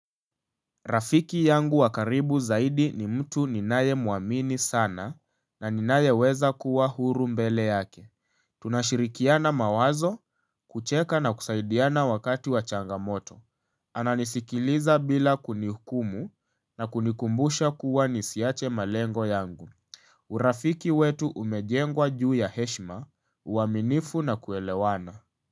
Rafiki yangu wa karibu zaidi ni mtu ninayemuamini sana na ninayeweza kuwa huru mbele yake. Tunashirikiana mawazo, kucheka na kusaidiana wakati wa changamoto. Ananisikiliza bila kunihukumu na kunikumbusha kuwa nisiache malengo yangu. Urafiki wetu umejengwa juu ya heshima, uaminifu na kuelewana.